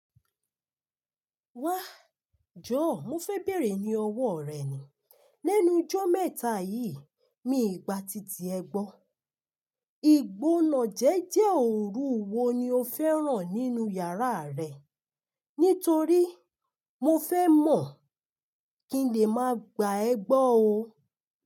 Wá, jọ̀ọ́ mo fẹ́ bèèrè ní ọwọ́ rẹ̀ ni. Lẹ́nu ijọ́ mẹ́ta yìí mi gba titi ẹ gbọ́. Igbónàjẹ̀jẹ́ òru wo ni o fẹ́ràn nínú iyàrá rẹ? Nítorí mo fẹ́ mọ̀ kí n lè máa gba ẹ gbọ́ o.